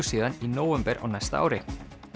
síðan í nóvember á næsta ári